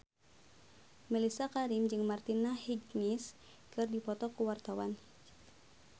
Mellisa Karim jeung Martina Hingis keur dipoto ku wartawan